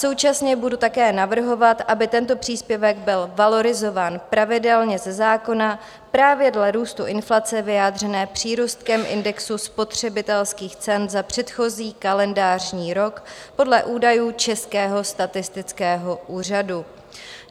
Současně budu také navrhovat, aby tento příspěvek byl valorizován pravidelně ze zákona právě dle růstu inflace vyjádřené přírůstkem indexu spotřebitelských cen za předchozí kalendářní rok podle údajů Českého statistického úřadu.